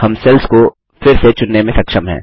हम सेल्स को फिर से चुनने में सक्षम हैं